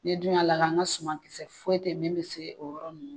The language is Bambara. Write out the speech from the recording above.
Ne dun y'a lakalan an ka sumankisɛ foyi tɛ min bɛ se o yɔrɔ ninnu ma